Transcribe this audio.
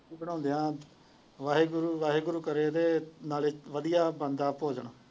ਰੋਟੀ ਪਕਾਉਂਦੇ ਆ ਵਾਹਿਗੁਰੂ ਵਾਹਿਗੁਰੂ ਕਰੇ ਤੇ ਵਧੀਆ ਬਣਦਾ ਭੋਜਨ।